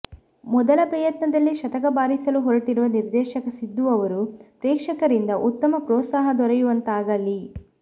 ಮೊದಲ ಪ್ರಯತ್ನದಲ್ಲೇ ಶತಕ ಬಾರಿಸಲು ಹೊರಟಿರುವ ನಿರ್ದೇಶಕ ಸಿದ್ದು ಅವರು ಪ್ರೇಕ್ಷಕರಿಂದ ಉತ್ತಮ ಪ್ರೋತ್ಸಾಹ ದೊರೆಯುವಂತಾಗಲಿ